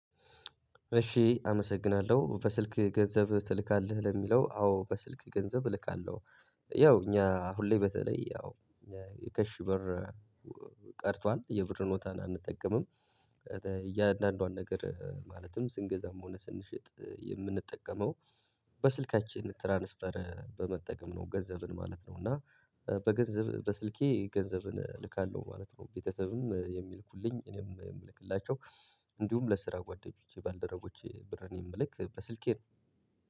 እሺ አመሰግናለሁ በስልክ ገንዘብ ትልካለህ ለሚለው አዎ በስልክ ገንዘብ እልካለሁ። ያው እኛ ሁሌ በተለይ ያው ካሽ ብር ቀርቷል የብር ኖታን አንጠቀምም። እያንዳንዷን ነገር ማለትም ስንገዛም ሆነ ስንሸጥ የምንጠቀመው በስልካችን ትራንስፈር በመጠቀም ነው። ገንዘብን ማለት ነው እና በገንዘብ በስልኬ ገንዘብን እልካለሁ ማለት ነው። ቤተሰብም የሚልኩልኝ እኔም የምልክላቸው። እንዲሁም ለስራ ጓደኞቼ ባልደረጎቼ ብር እኔም ልክ በስልኬ ነው።